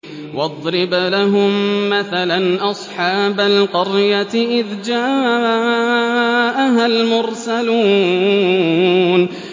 وَاضْرِبْ لَهُم مَّثَلًا أَصْحَابَ الْقَرْيَةِ إِذْ جَاءَهَا الْمُرْسَلُونَ